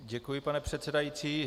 Děkuji, pane předsedající.